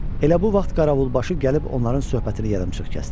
Elə bu vaxt Qaravulbaşı gəlib onların söhbətini yarımçıq kəsdi.